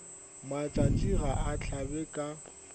matšatši ga a hlabe ka